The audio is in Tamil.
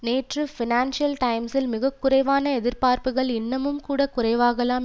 நேற்று பைனான்சியல் டைம்ஸில் மிக குறைவான எதிர்பார்ப்புக்கள் இன்னமும் கூட குறைவாகலாம்